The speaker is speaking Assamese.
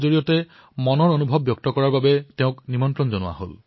অলপতে হিমায়তৰ এক অনুষ্ঠানত তেওঁক নিজৰ অভিজ্ঞতা বৰ্ণনা কৰিবলৈ আমন্ত্ৰণ জনোৱা হৈছিল